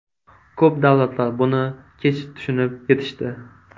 Ko‘p davlatlar buni kech tushunib yetishdi.